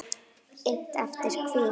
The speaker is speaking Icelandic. Innt eftir: Hví?